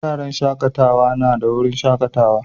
Wuraren shakatawa na da wurin shakatawa.